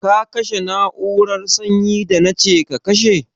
Ka kashe na'urar sanyi da na ce ka kashe?